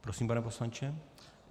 Prosím, pane poslanče.